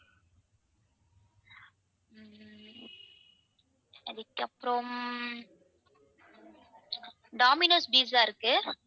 அதுக்கப்புறம் domino's pizza இருக்கு.